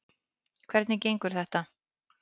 Hvernig gengur þetta?